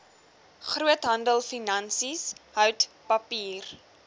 groothandelfinansies hout papier